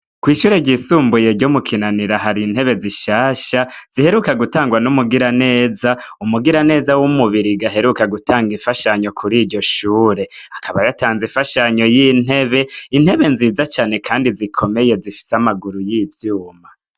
Kw'ishure ryisumbuye ryo mu Kinanira, hari intebe zishaka ziheruka gutangwa n'umugiraneza, umugirananeza w'umubirigi aheruka gutanga imfashanyo kuryo shuri. Akaba yatanzwe imfashanyo y'intebe, intebe nziza cane Kandi zikomeye zifise amaguru y'ivyuma.